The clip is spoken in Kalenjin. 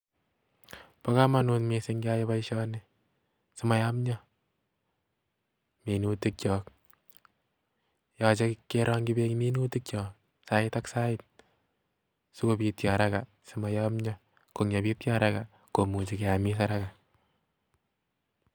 Bo komonut missing keyai boishoni simoyomyoo minutikchok, yoche kerongchii beek minutikyok sait ak Sait sikobiityo haraka simoyomyo, siyebityoo haraka keame en haraka